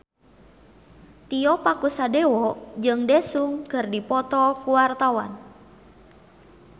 Tio Pakusadewo jeung Daesung keur dipoto ku wartawan